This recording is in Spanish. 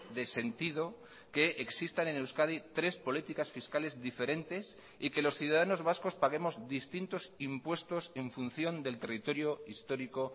de sentido que existan en euskadi tres políticas fiscales diferentes y que los ciudadanos vascos paguemos distintos impuestos en función del territorio histórico